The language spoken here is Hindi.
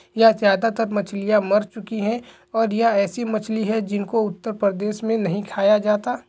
यह ज्यादा तर मछलिया मर चुकी है और यह ऐसी मछली है जिन को उत्तर प्रदेश मे नहीं खाया जाता।